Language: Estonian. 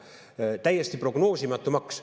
See on täiesti prognoosimatu maks.